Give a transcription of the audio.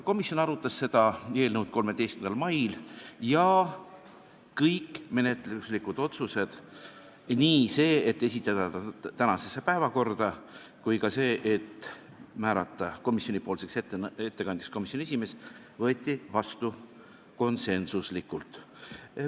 Komisjon arutas seda eelnõu 13. mail ja kõik menetluslikud otsused – nii see, et esitada eelnõu tänasesse päevakorda, kui ka see, et määrata ettekandjaks komisjoni esimees – võeti vastu konsensusega.